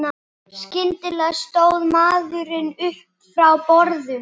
Skyndilega stóð maðurinn upp frá borðum.